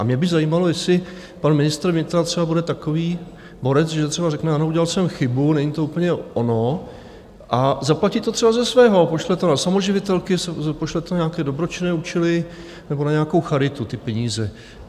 A mě by zajímalo, jestli pan ministr vnitra třeba bude takový borec, že třeba řekne ano, udělal jsem chybu, není to úplně ono, a zaplatí to třeba ze svého, pošle to na samoživitelky, pošle to na nějaké dobročinné účely nebo na nějakou charitu, ty peníze.